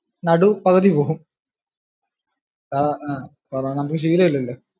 നടു പകുതി പോകും ആഹ് കാരണം നമക്ക് ശീലം ഇല്ലല്ലോ.